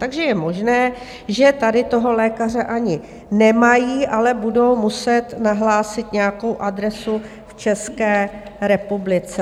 Takže je možné, že tady toho lékaře ani nemají, ale budou muset nahlásit nějakou adresu v České republice.